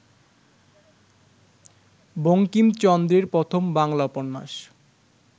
বঙ্কিমচন্দ্রের প্রথম বাংলা উপন্যাস